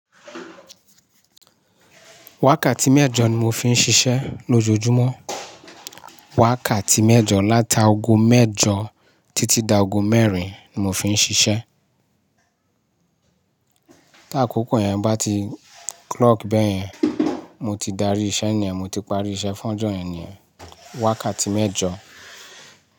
Wákàtí mẹ́jọ ni mo fi ń ṣiṣẹ́ lójoojúmọ́. Wákàtí mẹ́jọ láta ago mẹ́jọ títí dá ago mẹ́rin ni mo fi ń ṣiṣẹ́. Tí àkókò yẹn bá ti clock bẹ́ẹ̀ yẹn, mo ti darí iṣẹ́ ni ẹ́n, mo ti parí iṣẹ́ fún ọjọ́ yẹn ni ẹ́, wákàtí mẹ́jọ.